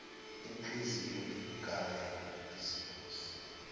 inhliziyo igaya izibozi